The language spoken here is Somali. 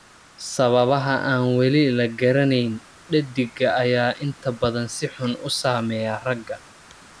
Sababaha aan weli la garanayn, dheddigga ayaa inta badan si xun u saameeya ragga.